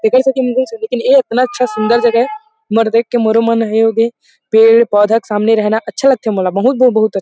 ऐ एतना अच्छा सुन्दर जगह ये मर देख के मोरो मन होगे हे पेड़-पौधा के सामने रहना अच्छा लगथे मोल मतलब बहुत --